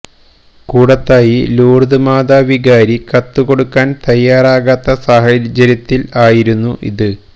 Koodathayi Lourdes Mata വികാരി കത്ത് കൊടുക്കാന് തയ്യാറാകാത്ത സാഹചര്യത്തിൽ ആയിരുന്നു ഇത്